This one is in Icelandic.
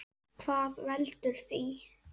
Hvað veldur því?